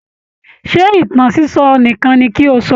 Ṣé ìtàn sísọ nìkan ni kí ó sọ?